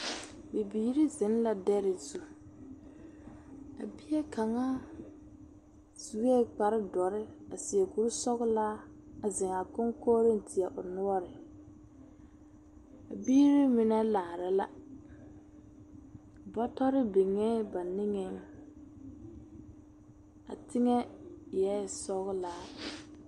Bibiiri zeŋla dɛre zu. A bie kaŋa sue kpare dɔre a seɛ kuri sɔgelaa a zeŋ a koŋkoriŋ teɛ o noɔre. A biiri mine laara la. Bɔtɔre biŋee ba niŋeŋ. Teŋɛ eɛ sɔgelaa.